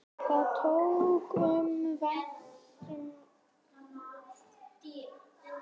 Það þótti okkur vænt um.